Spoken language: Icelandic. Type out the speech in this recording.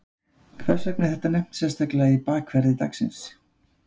Hvers vegna er þetta nefnt sérstaklega í bakverði dagsins?